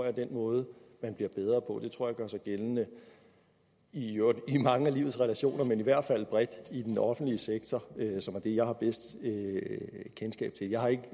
er den måde man bliver bedre på det tror i gør sig gældende i mange af livets relationer men i hvert fald bredt i den offentlige sektor som er det jeg har bedst kendskab til jeg har ikke